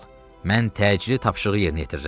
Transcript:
Mən təcili tapşırığı yerinə yetirirəm.